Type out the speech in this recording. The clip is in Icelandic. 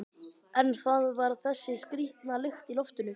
En það var þessi skrýtna lykt í loftinu.